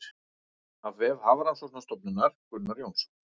Af vef Hafrannsóknastofnunar Gunnar Jónsson.